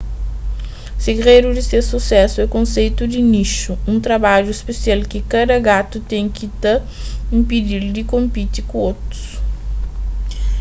segredu di ses susésu é konseitu di nixu un trabadju spesial ki kada gatu ten ki ta inpedi-l di konpiti ku otus